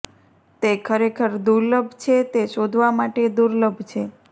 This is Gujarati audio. તે ખરેખર દુર્લભ છે તે શોધવા માટે દુર્લભ છે